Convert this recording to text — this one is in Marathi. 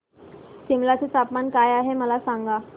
सिमला चे तापमान काय आहे मला सांगा